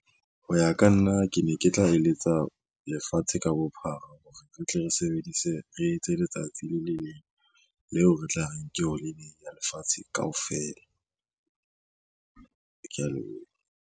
Ho ya ka nna ke ne ke tla eletsa lefatshe ka bophara hore re tle re sebedise re etse letsatsi le le leng leo re tla re ke holiday lefatshe kaofela. Ke ya leboha.